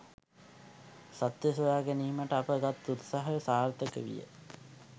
සත්‍ය සොයා ගැනීමට අප ගත් උත්සාහය සාර්ථක විය.